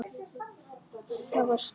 Það var stór stund.